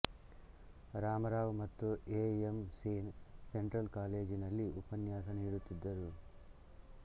ರಾಮರಾವ್ ಮತ್ತು A M Sen Central ಕಾಲೇಜಿನಲ್ಲಿ ಉಪನ್ಯಾಸ ನೀಡುತ್ತಿದ್ದರು